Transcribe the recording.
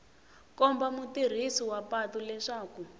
komba mutirhisi wa patu leswaku